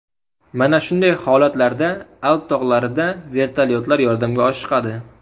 Mana shunday holatlarda Alp tog‘larida vertolyotlar yordamga oshiqadi.